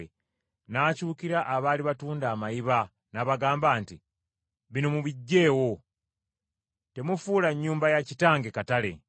N’akyukira abaali batunda amayiba n’abagamba nti, “Bino mubiggye wo. Temufuula Nnyumba ya Kitange katale .”